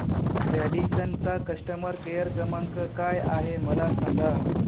Radisson चा customer care क्रमांक काय आहे मला सांगा